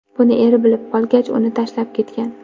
Buni eri bilib qolgach, uni tashlab ketgan.